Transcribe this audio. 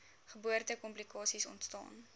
geboorte komplikasies ontstaan